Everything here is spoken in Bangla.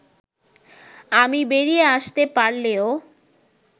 আমি বেরিয়ে আসতে পারলেও